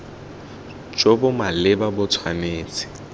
jo bo maleba bo tshwanetse